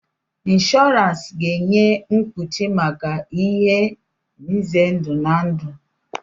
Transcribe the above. Inshọransi ga-enye mkpuchi maka ihe nze ndụ na ndụ.